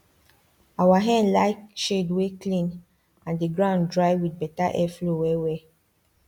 our hen like shades wey clean and the ground dry with better airflow well well